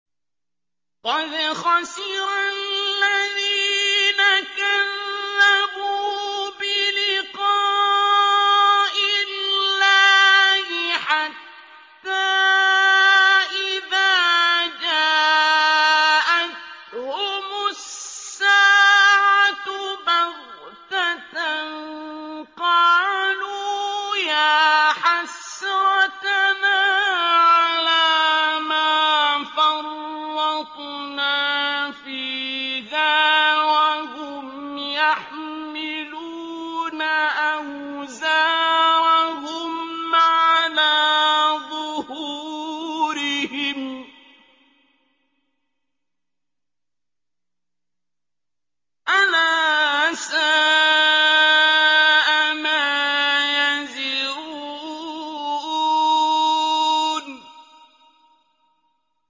قَدْ خَسِرَ الَّذِينَ كَذَّبُوا بِلِقَاءِ اللَّهِ ۖ حَتَّىٰ إِذَا جَاءَتْهُمُ السَّاعَةُ بَغْتَةً قَالُوا يَا حَسْرَتَنَا عَلَىٰ مَا فَرَّطْنَا فِيهَا وَهُمْ يَحْمِلُونَ أَوْزَارَهُمْ عَلَىٰ ظُهُورِهِمْ ۚ أَلَا سَاءَ مَا يَزِرُونَ